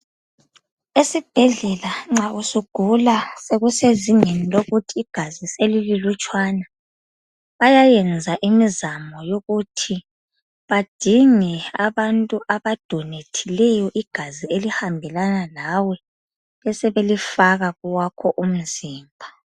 Esibhedlela nxa usugula sekusezingeni lokuthi igazi selililutshwana bayayenza imizamo yokuthi badinge abantu abadonethileyo igazi elihambelana lawe besebelifaka kowakho umzimba.